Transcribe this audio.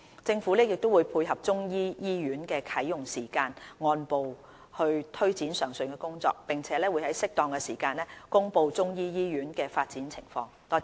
政府亦會配合中醫醫院的啟用時間按步推展上述工作，並會在適當時間公布中醫醫院的發展情況。